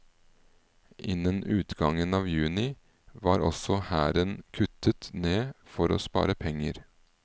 Innen utgangen av juni var også hæren kuttet ned for å spare penger.